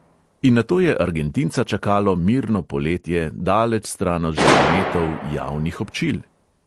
In nato je argentinca čakalo mirno poletje, daleč stran od žarometov javnih občil?